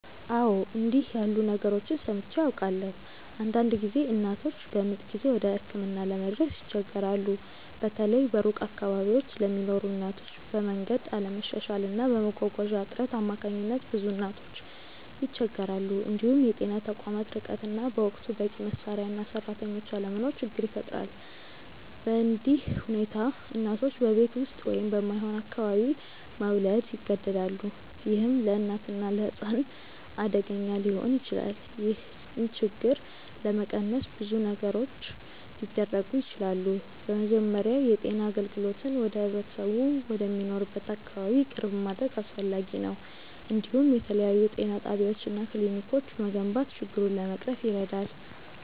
አዎ፣ እንዲህ ያሉ ነገሮችን ሰምቼ አውቃለሁ። አንዳንድ ጊዜ እናቶች በምጥ ጊዜ ወደ ሕክምና ለመድረስ ይቸገራሉ፤ በተለይ በሩቅ አካባቢዎች ለሚኖሩ እናቶች፤ በመንገድ አለመሻሻል እና በመጓጓዣ እጥረት አማካኝነት ብዙ እናቶች ይቸገራሉ። እንዲሁም የጤና ተቋማት ርቀት እና በወቅቱ በቂ መሳሪያ እና ሰራተኞች አለመኖር ችግር ይፈጥራል። በእንዲህ ሁኔታ እናቶች በቤት ውስጥ ወይም በማይሆን አካባቢ መውለድ ይገደዳሉ፣ ይህም ለእናትና ለሕፃን አደገኛ ሊሆን ይችላል። ይህን ችግር ለመቀነስ ብዙ ነገሮች ሊደረጉ ይችላሉ። በመጀመሪያ የጤና አገልግሎትን ወደ ህብረተሰቡ ወደሚኖርበት አካባቢ ቅርብ ማድረግ አስፈላጊ ነው፤ እንዲሁም የተለያዩ ጤና ጣቢያዎች እና ክሊኒኮች መገንባት ችግሩን ለመቅረፍ ይረዳል።